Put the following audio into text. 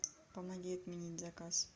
помоги отменить заказ